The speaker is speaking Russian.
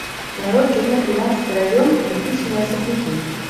нарой кино тринадцатый район кирпичные особняки